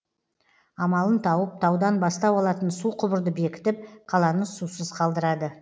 амалын тауып таудан бастау алатын су құбырды бекітіп қаланы сусыз қалдырады